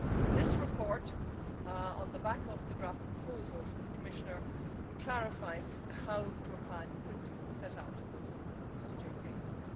This report, on the back of the draft proposal from the Commissioner, clarifies how to apply the principles set out in those ECJ cases.